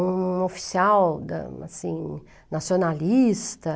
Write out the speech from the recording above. Um oficial da assim, nacionalista.